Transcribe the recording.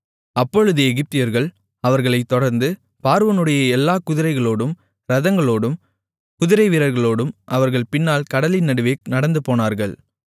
அப்பொழுது எகிப்தியர்கள் அவர்களைத் தொடர்ந்து பார்வோனுடைய எல்லாக் குதிரைகளோடும் இரதங்களோடும் குதிரைவீரர்களோடும் அவர்கள் பின்னால் கடலின் நடுவே நடந்துபோனார்கள்